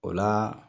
O la